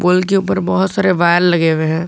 नल के ऊपर बहुत सारे वायर लगे हुए हैं।